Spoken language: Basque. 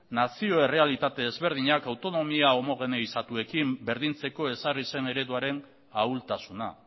nazio errealitate desberdinak autonomia homogeneizatuekin berdintzeko ezarri zen ereduaren ahultasuna